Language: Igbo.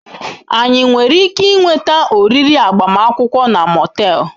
Anyị nwere ike ịnweta oriri agbamakwụkwọ na Motel?